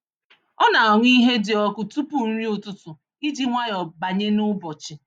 Ọ na-aṅụ ihe dị ọkụ tupu nri ụtụtụ iji nwayọọ banye n’ụbọchị.